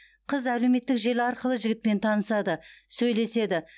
қыз әлеуметтік желі арқылы жігітпен танысады сөйлеседі